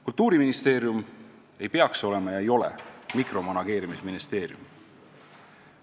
Kultuuriministeerium ei tohiks olla ega olegi mikromanageerimisministeerium.